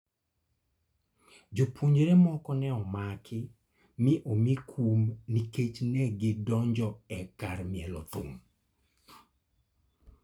Jopuonjre moko ne omaki mi omi kum nikech ne gidonjo e kar mielo thum.